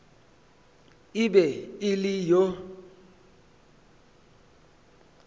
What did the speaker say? e be e le yo